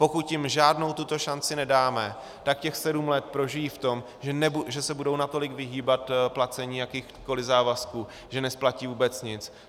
Pokud jim žádnou tuto šanci nedáme, tak těch sedm let prožijí v tom, že se budou natolik vyhýbat placení jakýchkoliv závazků, že nesplatí vůbec nic.